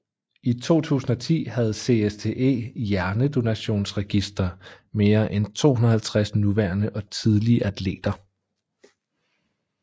I 2010 havde CSTE Hjernedonationsregister mere end 250 nuværende og tidligere atleter